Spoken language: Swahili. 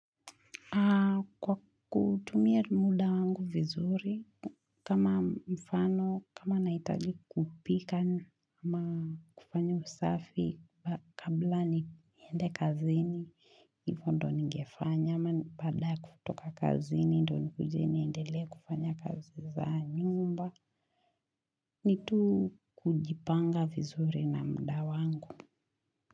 Kwa kutumia muda wangu vizuri, kama mfano, kama nahitaji kupika ama kufanya usafi kabla niende kazini. Hivyo ndio ningefanya ama ni baada ya kutoka kazini, ndio nikuje niendelee kufanya kazi za nyumba. Ni tu kujipanga vizuri na muda wangu.